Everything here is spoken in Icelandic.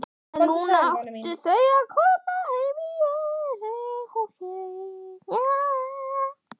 En núna áttu þau heima í öðru húsi.